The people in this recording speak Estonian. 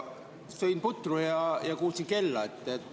Ma sõin putru ja kuulsin kella.